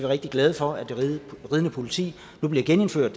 rigtig glade for at det ridende politi nu bliver genindført